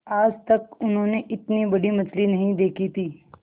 आज तक उन्होंने इतनी बड़ी मछली नहीं देखी थी